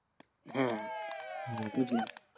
হ্যাঁ বুঝলাম।